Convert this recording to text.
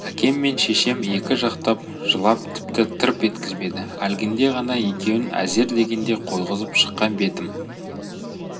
әкем мен шешем екі жақтап жылап тіпті тырп еткізбеді әлгінде ғана екеуін әзер дегенде қойғызып шыққан бетім